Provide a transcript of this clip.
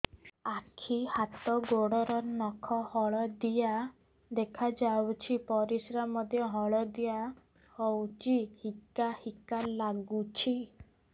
ଆଖି ହାତ ଗୋଡ଼ର ନଖ ହଳଦିଆ ଦେଖା ଯାଉଛି ପରିସ୍ରା ମଧ୍ୟ ହଳଦିଆ ହଉଛି ହିକା ହିକା ଲାଗୁଛି